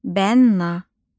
Bənna